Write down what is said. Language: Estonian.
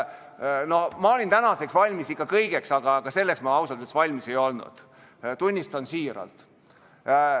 Ma olin täna valmis kõigeks, aga selleks ma ausalt öeldes valmis ei olnud, tunnistan siiralt.